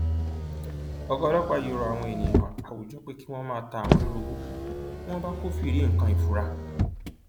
ọgá ọlọpàá yìí rọ àwọn èèyàn àwùjọ pé kí wọn máa ta àwọn lólobó bí wọn bá kọfíìrì nǹkan ìfura